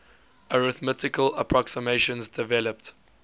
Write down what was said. arithmetical approximations developed